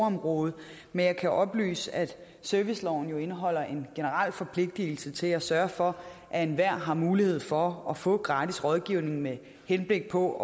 område men jeg kan oplyse at serviceloven jo indeholder en generel forpligtelse til at sørge for at enhver har mulighed for at få gratis rådgivning med henblik på